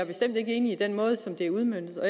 bestemt ikke enig i den måde som det er udmøntet